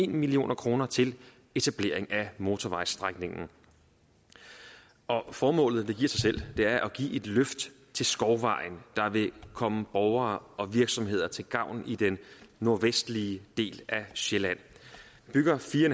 million kroner til etablering af motorvejsstrækningen formålet giver sig selv det er at give et løft til skovvejen der vil komme borgere og virksomheder til gavn i den nordvestlige del af sjælland vi bygger fire